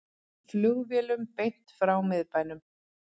Flugvélum beint frá miðbænum